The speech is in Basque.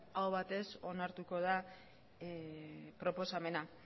aho batez onartuko da proposamena